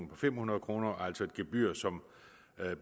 på fem hundrede kroner det er altså et gebyr som